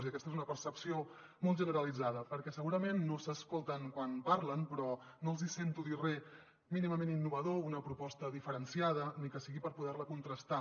i aquesta és una percepció molt generalitzada perquè segurament no s’escolten quan parlen però no els hi sento dir re mínimament innovador o una proposta diferenciada ni que sigui per poder la contrastar